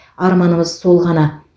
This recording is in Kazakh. арманымыз сол ғана